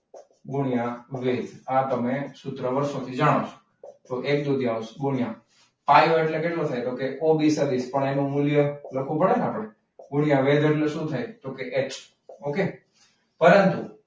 પાયો ગુણ્યા વેધ આ તમે સૂત્ર જાણો છો. તો એક દુત્યૌંશ પાયો એટલે કેટલો છે કે ઓબી સદીશ. પણ એનું મૂલ્ય લખવું પડે ને? મૂલ્ય વેધનું શું છે? તો કે એચ. okay પરંતુ,